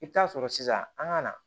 I bɛ taa sɔrɔ sisan an ka na